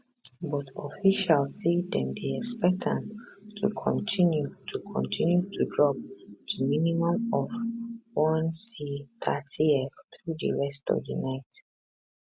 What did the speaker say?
but officials say dem dey expect am to kontinu to kontinu to drop to minimum of 1c 30f through di rest of di night